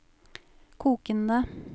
kokende